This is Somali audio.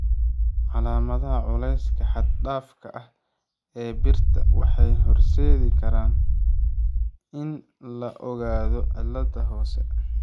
Calaamadaha culeyska xad-dhaafka ah ee birta waxay horseedi karaan in la ogaado cilladan hoose.